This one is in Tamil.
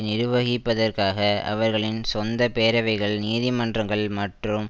நிர்வகிப்பதற்காக அவர்களின் சொந்த பேரவைகள் நீதிமன்றங்கள் மற்றும்